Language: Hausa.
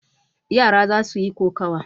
Yara za su yi kokawa.